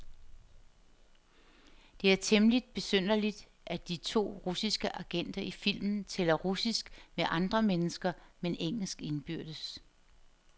Det er temmeligt besynderligt, at de to russiske agenter i filmen taler russisk med andre mennesker, men engelsk indbyrdes.